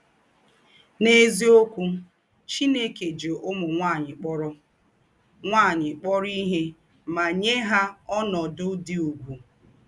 N’èzíokwū, Chìnèkè jí ǔmū nwányị̀ kpọ̀rọ̀ nwányị̀ kpọ̀rọ̀ ìhè mà nyè hà ònòdū̄ dị ùgwù.